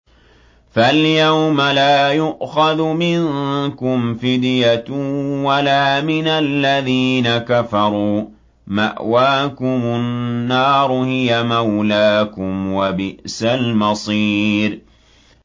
فَالْيَوْمَ لَا يُؤْخَذُ مِنكُمْ فِدْيَةٌ وَلَا مِنَ الَّذِينَ كَفَرُوا ۚ مَأْوَاكُمُ النَّارُ ۖ هِيَ مَوْلَاكُمْ ۖ وَبِئْسَ الْمَصِيرُ